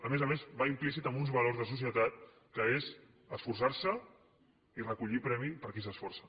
a més a més va implícit en uns valors de societat que són esforçar se i recollir premi per qui s’esforça